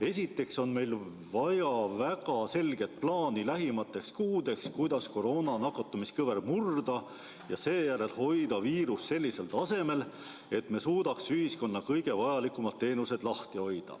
Esiteks on meil vaja väga selget plaani lähimateks kuudeks, kuidas koroona nakatumiskõver murda ja seejärel hoida viirus sellisel tasemel, et me suudaksime ühiskonna kõige vajalikumad teenused lahti hoida.